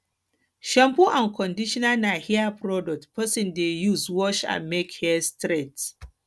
shampoo and conditional na hair products person de use wash and make hair straight